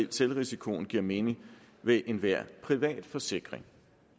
selvrisikoen giver mening ved enhver privat forsikring